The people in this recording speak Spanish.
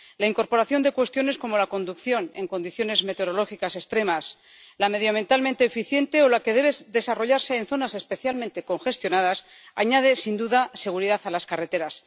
La incorporación de cuestiones como la conducción en condiciones meteorológicas extremas, la medioambientalmente eficiente o la que debe desarrollarse en zonas especialmente congestionadas añade, sin duda, seguridad a las carreteras.